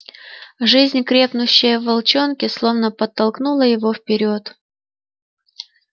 жизнь крепнущая в волчонке словно подтолкнула его вперёд